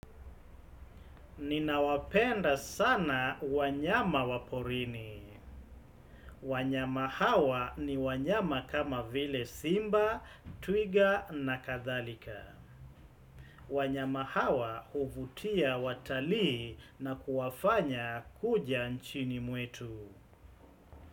Ninawapenda sana wanyama waporini. Wanyama hawa ni wanyama kama vile simba, twiga na kathalika. Wanyama hawa uvutia watali na kuwafanya kuja nchini muetu.